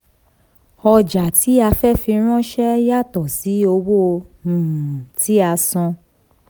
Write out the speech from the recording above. ọjà tí a fẹ́ fi ránṣẹ́ yàtọ̀ sí owó um tí a san.